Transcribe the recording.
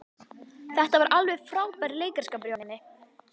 Þetta var alveg frábær leikaraskapur hjá henni.